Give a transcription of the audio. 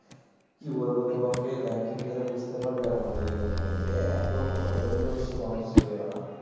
কি বলবো তোমাকে bank এ গেলে বুজতে পারবে আমাদের ইউনিয়ান bank এ এত হয়রানি করছে মানুষকে ওরা